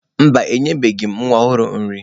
Mba, enyebeghị m nwa ọhụrụ nri.